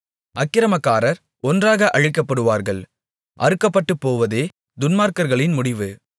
அக்கிரமக்காரர் ஒன்றாக அழிக்கப்படுவார்கள் அறுக்கப்பட்டுபோவதே துன்மார்க்கர்களின் முடிவு